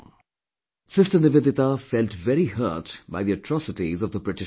Sister Nivedita felt very hurt by the atrocities of the British rule